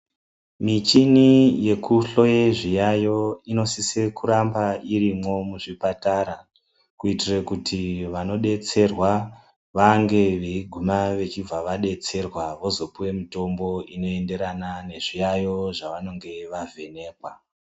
Michini yekuhloye zviyaiyo inosisa kunge irimwo muzvipatara. Kuitira kuti vanobetserwa vange vechiguma vachibva vabetserwa vozopiva mutombo unoenderana nezviyaiyo zvavanonge vavhenekwa.